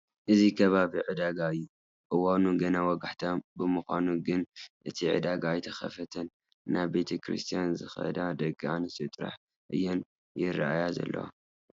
እዚ ከባቢ ዕዳጋ እዩ፡፡ እዋኑ ገና ወጋሕታ ብምዃኑ ግን እቲ ዕዳጋ ኣይተኸፋፈተን፡፡ ናብ ቤተ ክርስቲያን ዝኸዳ ደቂ ኣንስትዮ ጥራሕ እየን ይርአያ ዘለዋ፡፡